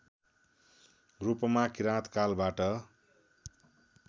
रूपमा किराँत कालबाट